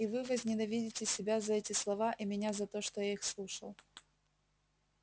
и вы возненавидите себя за эти слова и меня за то что я их слушал